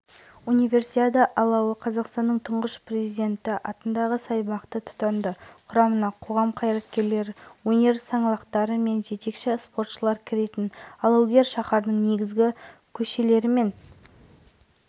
нобай-жобасына байқау жарияланған болатын байқауды ұйымдастырушы астана қаласының сәулет және қала құрылысы басқармасы болып табылады